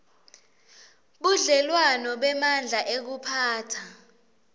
budlelwano bemandla ekuphatsa